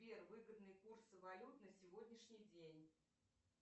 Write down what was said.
сбер выгодные курсы валют на сегодняшний день